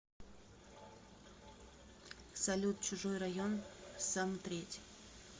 салют чужой район сомтреть